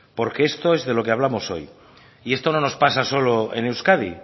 porque esto es de lo que hablamos hoy y esto no nos pasa solo en euskadi